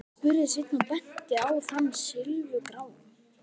spurði Sveinn og benti á þann silfurgráa.